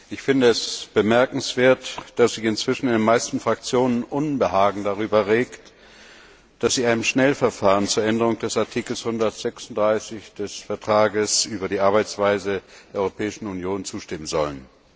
Ich finde es bemerkenswert, dass sich inzwischen in den meisten Fraktionen Unbehagen darüber regt, dass sie in einem Schnellverfahren der Änderung des Artikels 136 des Vertrags über die Arbeitsweise der Europäischen Union zustimmen sollen.